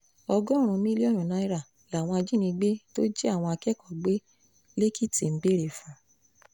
ọgọ́rùn-ún mílíọ̀nù náírà làwọn ajìnigbe tó jí àwọn akẹ́kọ̀ọ́ gbé lẹ́kìtì ń béèrè fún